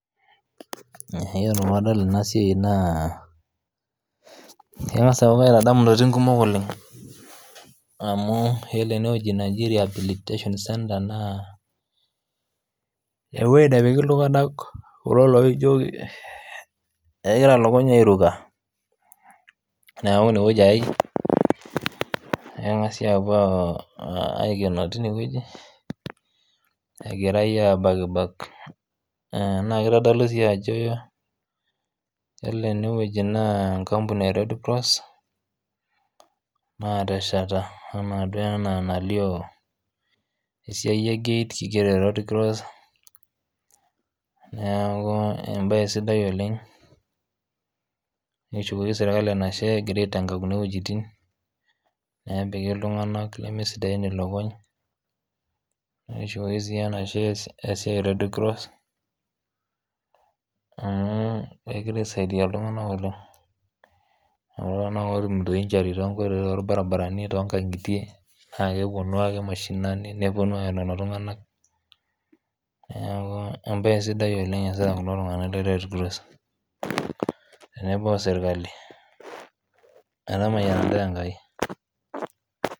Iyiolo peyie adol eena siai naa keng'asa aaku kaitadamu intokitin kuumok oleng. Amuu oore eene wueji neji rehabilitation Centre naa ewueji nepiki iltung'anak kulo laijo kegira ilukuny airuka. Niaku iine wueji eyae, neng'asi aapuo aikenoo teine wueji, egirae abakibak naa keitodolu sii aajo oore enewueji naa enkampuni e[Red Cross naatesheta enaa duo enaa enalio esiai ee gate. Nekishukoki serkali enashe egira aitenga kuuna wuejitin, neepiki iltung'anak lemesidain ilukuny, nekishukoki sii enashe esiai e Red Cross amuu kegira aisaidia iltung'anak oleng'.Kulo tung'anak otumito injury tonkoitoi tonkang'itie, naa keponu aake mashinani neponu aaya lelo tung'anak niaku embaye sidai oleng iasita kulo tung'anak le Red Cross teebo o serkali, metamayiana intae Enkai.